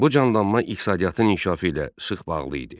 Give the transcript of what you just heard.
Bu canlanma iqtisadiyyatın inkişafı ilə sıx bağlı idi.